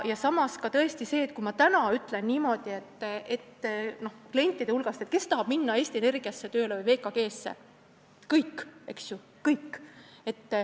Samas, kui ma täna küsin klientidelt, kes tahab minna tööle Eesti Energiasse või VKG-sse, siis tahavad kõik.